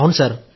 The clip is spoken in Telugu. ఔను సార్